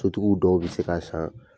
Sotigiw dɔw bɛ se k'a san